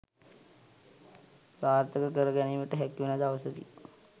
සාර්ථක කර ගැනීමට හැකිවන දවසකි